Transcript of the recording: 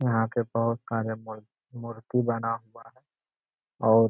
यहाँ के प्रमुख कार्य मुर मूर्ति बना हुआ है और --